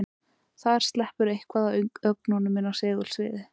Þar sleppur eitthvað af ögnunum inn í segulsviðið.